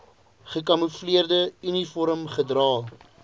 gekamoefleerde uniform gedra